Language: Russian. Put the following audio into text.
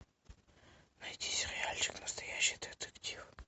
найди сериальчик настоящий детектив